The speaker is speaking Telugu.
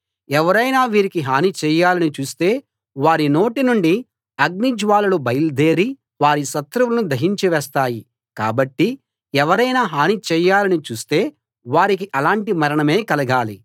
ఎవరైనా వీరికి హని చేయాలని చూస్తే వారి నోటి నుండి అగ్ని జ్వాలలు బయల్దేరి వారి శత్రువులను దహించి వేస్తాయి కాబట్టి ఎవరైనా హాని చేయాలని చూస్తే వారికి అలాంటి మరణమే కలగాలి